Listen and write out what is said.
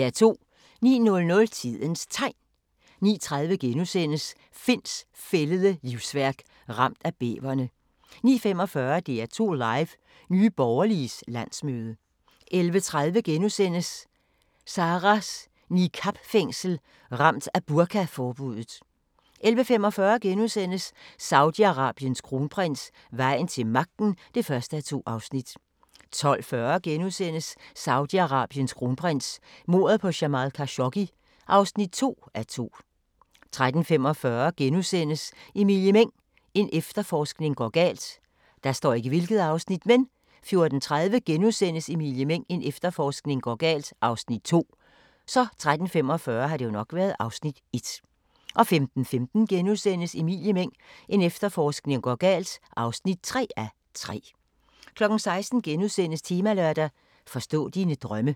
09:00: Tidens Tegn 09:30: Finds fældede livsværk – ramt af bæverne * 09:45: DR2 Live: Nye Borgerliges landsmøde 11:30: Sarahs niqab-fængsel – Ramt af burkaforbuddet * 11:45: Saudi-Arabiens kronprins: Vejen til magten (1:2)* 12:40: Saudi-Arabiens kronprins: Mordet på Jamal Khashoggi (2:2)* 13:45: Emilie Meng – en efterforskning går galt * 14:30: Emilie Meng – en efterforskning går galt (2:3)* 15:15: Emilie Meng – en efterforskning går galt (3:3)* 16:00: Temalørdag: Forstå dine drømme *